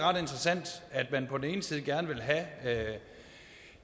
ret interessant at man på den ene side gerne vil have